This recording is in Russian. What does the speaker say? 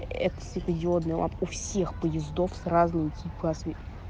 это светодиодные лампы у всех поездов с разными цюлькасми